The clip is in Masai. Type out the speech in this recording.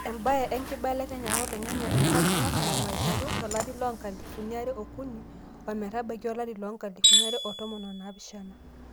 ebae enkibelekenyata oloing'ang'e te nkop nalulung'a aiteruolari loo nkalifuni are oo kuni ometabaiki olari loo nkalifuni are o tomon o naapishana